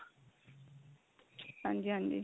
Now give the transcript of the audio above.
ਹਾਂਜੀ ਹਾਂਜੀ